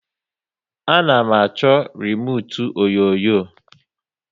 A na m achọ remute onyonyo